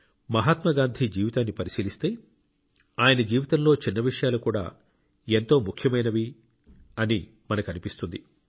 మహాత్మాగాంధీ జీవితాన్ని పరిశీలిస్తే ఆయన జీవితంలో చిన్న విషయాలు కూడా ఎంతో ముఖ్యమైనవని మనకు అనిపిస్తుంది